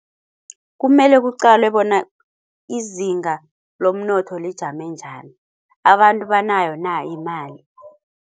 Kumele kuqalwe bona izinga lomnotho lijame njani. Abantu banayo na imali?